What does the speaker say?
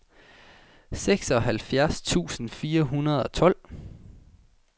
seksoghalvfjerds tusind fire hundrede og tolv